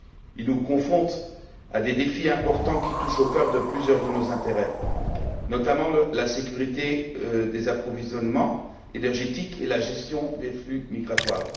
Il nous confronte à des défis importants qui touchent au cœur de plusieurs de nos intérêts, notamment la sécurité des approvisionnements énergétiques et la gestion des flux migratoires.